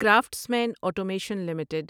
craftsman automation limited